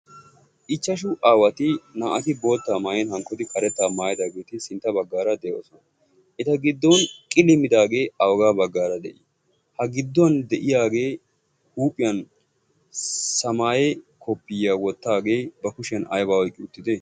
ichchashu aawati naa"ati boottaa maayen hankkodi karettaa maayedaageeti sintta baggaara de'oosona. eta giddon qiliimidaagee aogaa baggaara de'ii? ha gidduwan de'iyaagee huuphiyan samaaye koppiyiyaa wottaagee ba kushiyan ayba oyqqi uttide?